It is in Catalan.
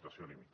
situació límit